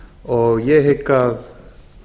og ég hygg að